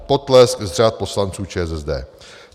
- Potlesk z řad poslanců ČSSD."